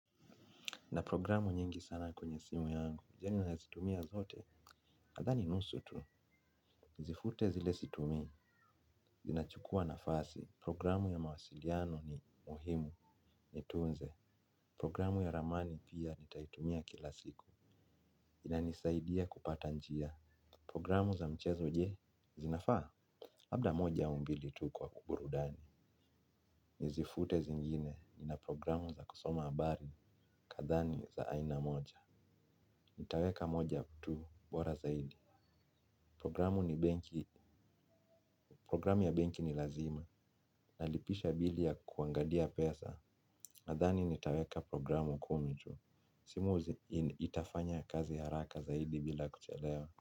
Na programu nyingi sana kwenye simu yangu, yani nazitumia zote, nadhani nusu tu, nizifute zile situmii, zinachukuwa nafasi, programu ya mawasiliano ni muhimu, nitunze, programu ya ramani pia nitaitumia kila siku, inanisaidia kupata njia, programu za mchezo je, zinafaa? Labda moja au mbili tu kwa burudani, nizifute zingine, nina programu za kusoma abari, kadhaa ni za aina moja. Nitaweka moja tu bora zaidi. Programu ya benki ni lazima, nalipisha bili ya kuangalia pesa. Nadhani nitaweka programu kumi tu. Simu itafanya kazi haraka zaidi bila kuchelewa.